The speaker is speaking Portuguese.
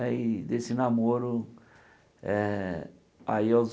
Aí desse namoro, eh aí aos